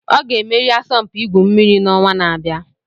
Ọ ga-emeri asọmpi igwu mmiri n'ọnwa na-abịa